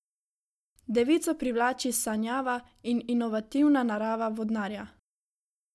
Devico privlači sanjava in inovativna narava vodnarja.